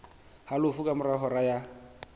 halofo ka mora hora ya